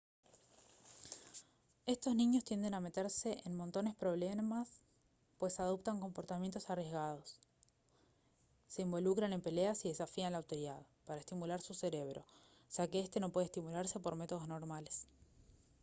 estos niños tienden a meterse en montones problemas pues «adoptan comportamientos arriesgados se involucran en peleas y desafían la autoridad» para estimular su cerebro ya que este no puede estimularse por métodos normales